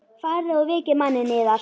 Farið og vekið manninn yðar.